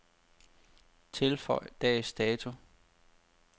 Tilføj dags dato.